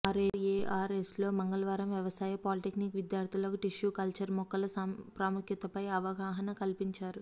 ఆర్ఎఆర్ఎస్లో మంగళవారం వ్యవసాయ పాలిటెక్నిక్ విద్యార్థులకు టిష్యు కల్చర్ మొక్కల ప్రాముఖ్యతపై అవగాహన కల్పించారు